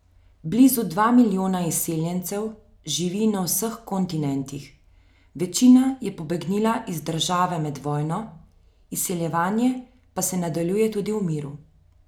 Blizu dva milijona izseljencev živi na vseh kontinentih, večina je pobegnila iz države med vojno, izseljevanje pa se nadaljuje tudi v miru.